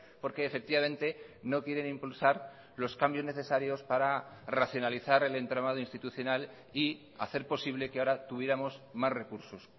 porque efectivamente no quieren impulsar los cambios necesarios para racionalizar el entramado institucional y hacer posible que ahora tuviéramos más recursos